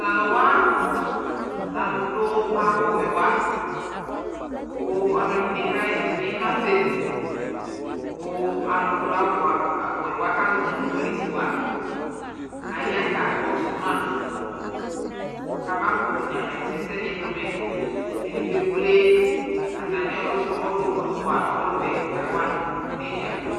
Taluwaa lɛ alu duu awu wɛ wa ku aluɛdini kaɣɛsɛ nima sɛlikualudu awu wɛ wa kaʒɔ nu policeaya kakɔsuma kafamanyama ɛsɛdu mɛ kedigbo ekple atamiɔlu wa ɔluɛ kawa niɖʒa